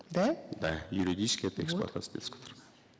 да да юридически это эксплуатация детского труда